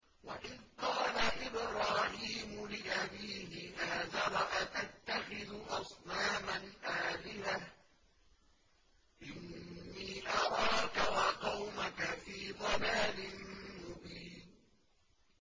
۞ وَإِذْ قَالَ إِبْرَاهِيمُ لِأَبِيهِ آزَرَ أَتَتَّخِذُ أَصْنَامًا آلِهَةً ۖ إِنِّي أَرَاكَ وَقَوْمَكَ فِي ضَلَالٍ مُّبِينٍ